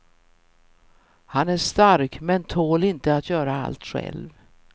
Han är stark men tål inte att göra allt själv.